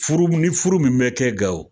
Furu ni furu min bɛ kɛ Gawo